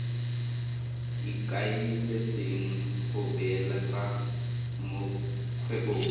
ikaeletseng go beeletsa mo kgwebong